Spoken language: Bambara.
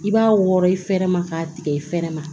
I b'a wɔrɔ i fɛrɛ ma k'a tigɛ i fɛrɛ ma